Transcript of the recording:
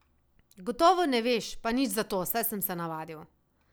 Gotovo ne veš, pa nič za to, saj sem se navadil.